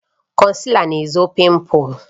Konsila na-ezochi pimples